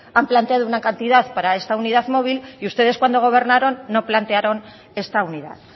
han planteado una cantidad para esta unidad móvil y ustedes cuando gobernaron no plantearon esta unidad